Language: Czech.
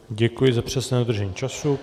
Děkuji za přesné dodržení času.